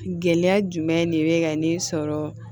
Gɛlɛya jumɛn de bɛ ka ne sɔrɔ